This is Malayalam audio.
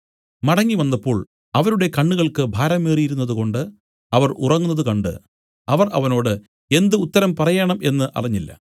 മടങ്ങിവന്നപ്പോൾ അവരുടെ കണ്ണുകൾക്ക് ഭാരമേറിയിരുന്നതുകൊണ്ടു അവർ ഉറങ്ങുന്നത് കണ്ട് അവർ അവനോട് എന്ത് ഉത്തരം പറയേണം എന്നു അറിഞ്ഞില്ല